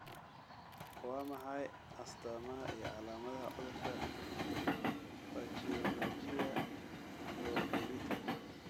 Waa maxay astamaha iyo calaamadaha cudurka Pachyonychia congenita?